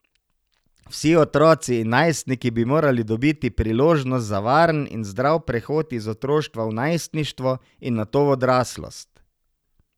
Vsi otroci in najstniki bi morali dobiti priložnost za varen in zdrav prehod iz otroštva v najstništvo in nato v odraslost.